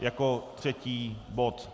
jako třetí bod.